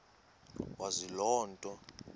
wazi loo nto